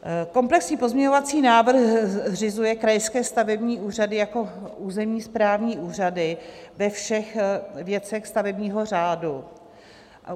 Komplexní pozměňovací návrh zřizuje krajské stavební úřady jako územní správní úřady ve všech věcech stavebního řádu.